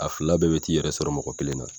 A fila bɛɛ bɛ t'i yɛrɛ sɔrɔ mɔgɔ kelen na